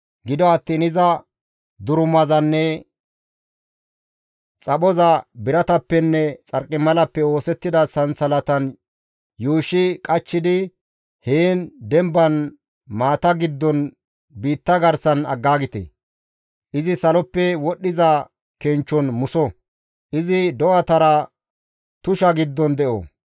Gido attiin iza durumazanne xaphoza biratappenne xarqimalappe oosettida sansalatan yuushshi qachchidi heen demban maata giddon biitta garsan aggaagite; Izi saloppe wodhdhiza kenchchon muso! Izi do7atara tusha giddon de7o.